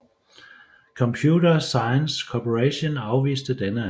Computer Sciences Corporation afviste denne anmodning